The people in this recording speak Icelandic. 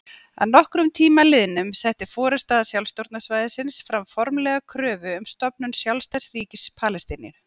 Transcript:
Að nokkrum tíma liðnum setti forysta sjálfstjórnarsvæðisins fram formlega kröfu um stofnun sjálfstæðs ríkis Palestínu.